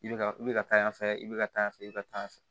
I bɛ ka i bɛ ka taa yan fɛ i bɛ ka taa yan fɛ i bɛ ka taa fɛ